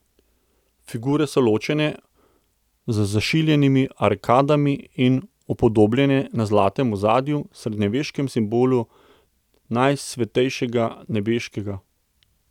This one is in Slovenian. Figure so ločene z zašiljenimi arkadami in upodobljene na zlatem ozadju, srednjeveškem simbolu najsvetejšega, nebeškega.